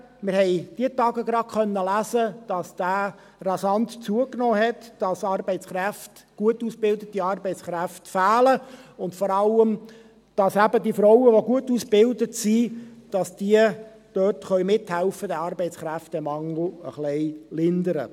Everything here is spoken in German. Wir konnten in diesen Tagen lesen, dass dieser rasant zugenommen hat, dass gut ausgebildete Arbeitskräfte fehlen und, vor allem, dass eben die Frauen, die gut ausgebildet sind, mithelfen können, diesen Arbeitskräftemangel ein wenig zu lindern.